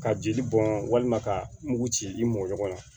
Ka jeli bɔn walima ka mugu ci i m mɔ ɲɔgɔn na